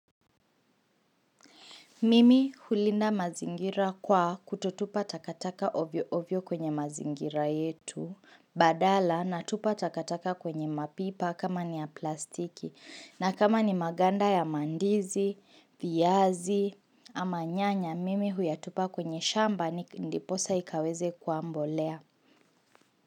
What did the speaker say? Mimi hulinda mazingira kwa kutotupa takataka ovyo ovyo kwenye mazingira yetu badala natupa takataka kwenye mapipa kama ni ya plastiki na kama ni maganda ya mandizi, viazi ama nyanya mimi huyatupa kwenye shamba ndiposa ikaweze kuwa mbolea.